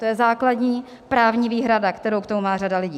To je základní právní výhrada, kterou k tomu má řada lidí.